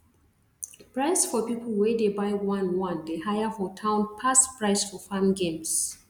price for people wey dey buy one one dey higher for town pass price for farm games